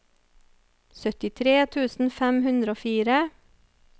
syttitre tusen fem hundre og fire